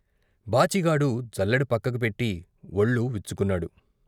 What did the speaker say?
బాచిగాడు జల్లెడ పక్కకి పెట్టి వొళ్ళు విచ్చుకున్నాడు.